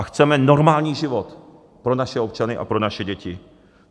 A chceme normální život pro naše občany a pro naše děti.